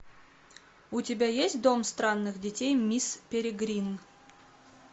у тебя есть дом странных детей мисс перегрин